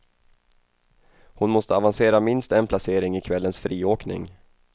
Hon måste avancera minst en placering i kvällens friåkning.